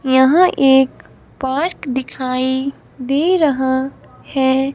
यहां एक पोट दिखाई दे रहा है।